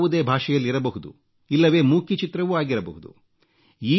ಅದು ಯಾವುದೇ ಭಾಷೆಯಲ್ಲಿರಬಹುದು ಇಲ್ಲವೆ ಮೂಕಿ ಚಿತ್ರವೂ ಆಗಿರಬಹುದು